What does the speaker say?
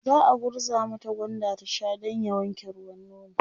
za'a gurza mata gwanda ta Sha Dan ya wanke ruwan nono